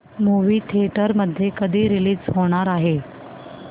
movie theatre मध्ये कधी release होणार आहे